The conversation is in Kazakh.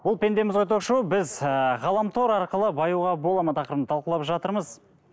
бұл пендеміз ғой ток шоуы біз ыыы ғаламтор арқылы баюға болады ма тақырыбын талқылап жатырмыз